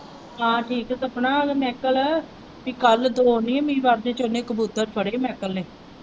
ਹਾਂ ਠੀਕ ਹੈ ਸਪਨਾ ਇਹ ਮਾਇਕਲ ਪੀ ਕੱਲ੍ਹ ਦੋ ਨਹੀਂ ਇਹਨੇ ਵੱਧ ਹੀ ਕਬੂਤਰ ਫੜੇ ਮਾਇਕਲ ਨੇ।